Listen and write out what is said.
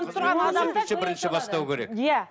қызмет көрсетуші бірінші бастау керек иә